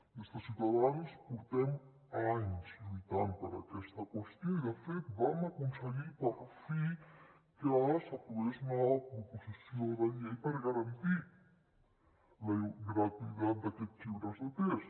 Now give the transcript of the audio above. des de ciutadans portem anys lluitant per aquesta qüestió i de fet vam aconseguir per fi que s’aprovés una proposició de llei per garantir la gratuïtat d’aquests llibres de text